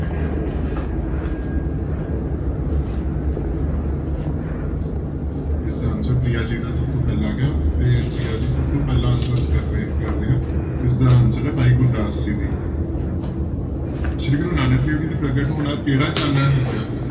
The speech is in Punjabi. ਇਸਦਾ answer ਪ੍ਰਿਆ ਜੀ ਦਾ ਸਭ ਤੋਂ ਪਹਿਲਾ ਆ ਗਿਆ ਤੇ ਪ੍ਰਿਆ ਜੀ ਸਭ ਤੋਂ ਪਹਿਲਾਂ answer ਕਰ ਰਹੇ ਕਰ ਰਹੇ ਆ, ਇਸਦਾ answer ਹੈ ਭਾਈ ਗੁਰਦਾਸ ਜੀ ਦੀ ਸ੍ਰੀ ਗੁਰੂ ਨਾਨਕ ਦੇਵ ਜੀ ਦੇ ਪ੍ਰਗਟ ਹੋਣ ਨਾਲ ਕਿਹੜਾ ਚਾਨਣ ਹੋ ਗਿਆ?